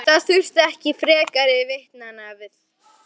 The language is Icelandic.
Það þurfti ekki frekari vitnanna við.